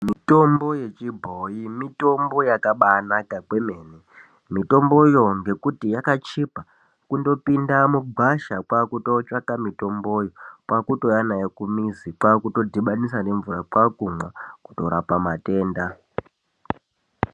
Mitombo yechibhoyi mitombo yakaba naka kwemene mitomboyo ngekuti yakachipa kundo pinda mugwasha kwakutotsvaka mitomboyo kwautouya nawo kumizi kwakuto dhibhanisa nemvura kwakumwa kutorapa matenda.